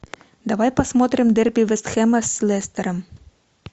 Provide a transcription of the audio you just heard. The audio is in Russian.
давай посмотрим дерби вест хэма с лестером